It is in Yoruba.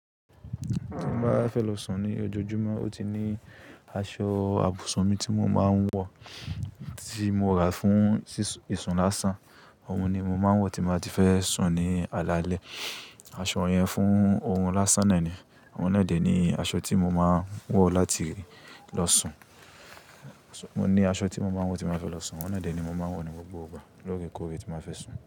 Tí n bá fẹ́ lọ sùn ní ojoojúmọ́, ó ti ní aṣọ àbùsún mi tí mo máa ń wọ̀, tí mo rà fún ìsùn lásán. Òun ni mo máa ń wọ̀ tí mo bá ti fẹ́ sùn ní alaalẹ́. Aṣọ yẹn fún ohun lásán náà ni. Oun naa dẹ̀ ni aṣọ tí mo máa ń wọ̀ láti lọ sùn. Mo ní aṣọ tí mo máa ń wọ̀ tí mo bá fẹ́ lọ sùn. Oun naa dẹ̀ ni mo máa ń wọ̀ ní gbogbo ìgbà lóòrèkóòrè tí n ba fẹ́ sùn.